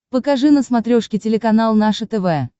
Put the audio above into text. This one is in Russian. покажи на смотрешке телеканал наше тв